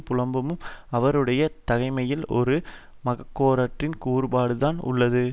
புலம்பும் அவருடைய தகமையில் ஒரு மனக்கோளாற்றின் கூறுபாடு தான் உள்ளது